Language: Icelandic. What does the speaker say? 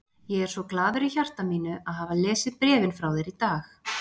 Ég er svo glaður í hjarta mínu að hafa lesið bréfin frá þér í dag.